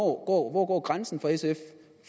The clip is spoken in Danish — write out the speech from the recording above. hvor går grænsen for sf